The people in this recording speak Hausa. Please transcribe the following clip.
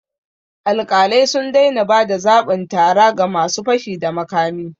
Alƙalai sun daina ba da zabin tara ga ma su fashi da makami